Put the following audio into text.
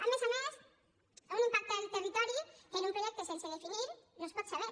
a més a més un impacte al territori que amb un projecte sense definir no es pot saber